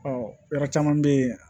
yɔrɔ caman bɛ yen